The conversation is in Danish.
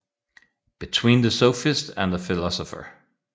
Between the Sophist and the Philosopher